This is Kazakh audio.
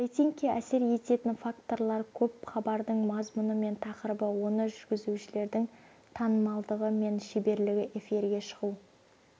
рейтингке әсер ететін факторлар көп хабардың мазмұны мен тақырыбы оны жүргізушілердің танымалдығы мен шеберлігі эфирге шығу